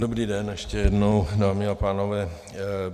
Dobrý den ještě jednou, dámy a pánové.